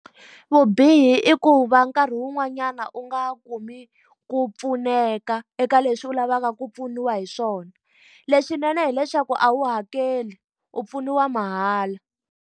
Vubihi i ku va nkarhi wun'wanyana u nga kumi ku pfuneka eka leswi u lavaka ku pfuniwa hi swona. Leswinene hileswaku a wu hakeli, u pfuniwa mahala.